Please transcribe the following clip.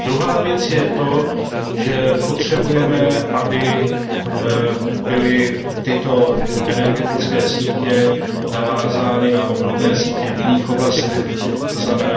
A druhá věc je to, že potřebujeme, aby byly tyto energetické sítě navázány na obdobné sítě v jiných oblastech, tzn.